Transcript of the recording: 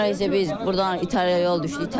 Sonra isə biz burdan İtaliyaya yol düşdük.